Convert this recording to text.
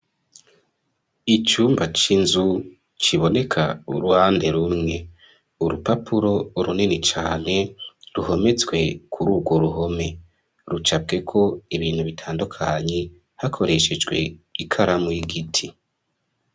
Icumba c'inzu kiboneka uruhande rumwe , urupapuro runini cane ruhometswe kur'urwo ruhome, rucapweko ibintu bitandukanye hakoreshejwe ikaramu y'igiti .